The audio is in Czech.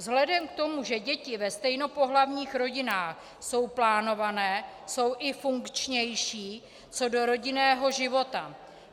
Vzhledem k tomu, že děti ve stejnopohlavních rodinách jsou plánované, jsou i funkčnější co do rodinného života.